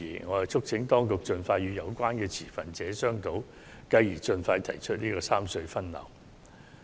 我促請當局盡快與有關的持份者商討，繼而及早推行三隧分流方案。